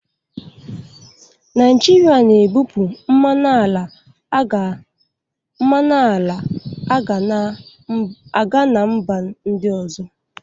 Naijiria na-ebupụ mmanụ ala a ga na mba ndị ọzọ.